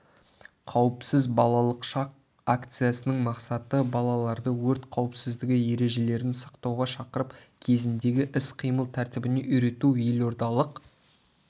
қауіпсіз балалық шақ акциясының мақсаты балаларды өрт қауіпсіздігі ережелерін сақтауға шақырып кезіндегі іс-қимыл тәртібіне үйрету елордалық